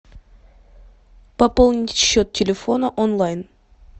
пополнить счет телефона онлайн